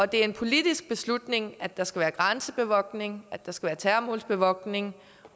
det er en politisk beslutning at der skal være grænsebevogtning at der skal være terrormålsbevogtning